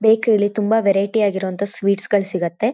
ಬೇಕ್ರಿಯಲ್ಲಿ ತುಂಬಾ ವೆರೈಟಿ ಆಗಿರೊಅಂತ ಸ್ವೀಟ್ಸ್ಗ ಗಳ್ ಸಿಗತ್ತೆ.